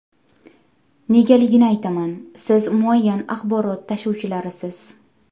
Negaligini aytaman: siz muayyan axborot tashuvchilarisiz.